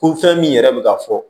Ko fɛn min yɛrɛ bɛ ka fɔ